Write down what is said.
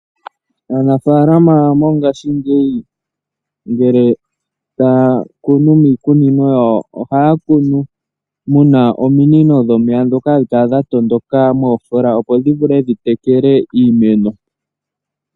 Aanafalama mongashingeyi ngele taya kunu miikunino yawo ohaya kunu mu na ominino dhomeya dhoka hadhi kala dha tondoka moofola, opo dhi vule okutekela iimeno.